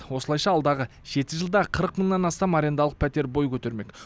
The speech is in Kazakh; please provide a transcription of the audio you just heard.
осылайша алдағы жеті жылда қырық мыңнан астам арендалық пәтер бой көтермек